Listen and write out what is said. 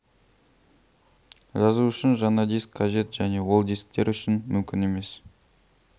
жазу үшін жаңа диск қажет және ол дисктер үшін мүмкін емес